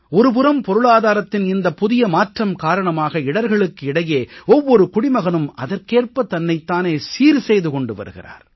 ஒரு புறம் பொருளாதாரத்தின் இந்த புதிய மாற்றம் காரணமாக இடர்களுக்கு இடையே ஒவ்வொரு குடிமகனும் அதற்கேற்ப தன்னைத் தானே சீர்செய்து கொண்டு வருகிறார்